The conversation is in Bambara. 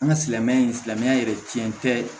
An ka silamɛya in silamɛya yɛrɛ tiɲɛ tɛ